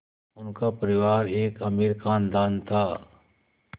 उनका परिवार एक अमीर ख़ानदान था